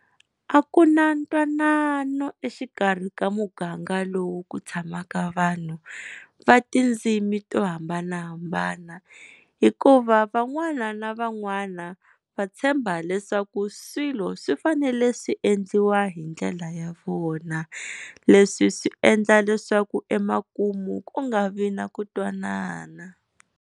A ku na ntwanano exikarhi ka muganga lowu ku tshamaka vanhu va tindzimi to hambanahambana, hikuva van'wana na van'wana va tshemba leswaku swilo swi fanele swi endliwa hi ndlela ya vona, leswi swi endla leswaku emakumu ku nga vi na ku twanana.